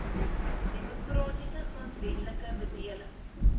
demokratiese grondwetlike bedeling